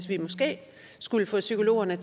vi måske skulle lade psykologerne